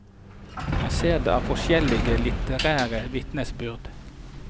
Man ser dette av forskjellige litterære vitnesbyrd.